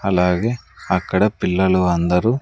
అలాగే అక్కడ పిల్లలు అందరూ--